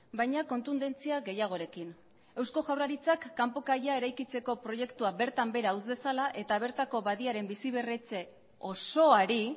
baina kontundentzia gehiagorekin eusko jaurlaritzak kanpo kaia eraikitzeko proiektua bertan behera utz dezala eta bertako badiaren bizi berritze osoari